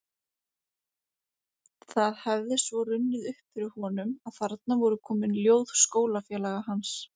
Það hefði svo runnið upp fyrir honum að þarna voru komin ljóð skólafélaga hans